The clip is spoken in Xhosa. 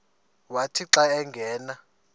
wathi xa angena